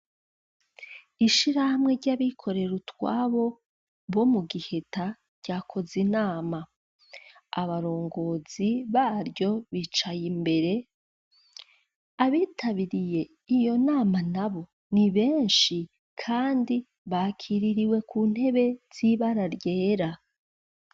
Ishiramwe ry'abikorera utwabo, bo mu Giheta, ryakoze inama abarongozi baryo bicaye imbere, abitabiriye iyo nama nabo, ni benshi, kandi bakiririwe ku ntebe z'ibara ryera.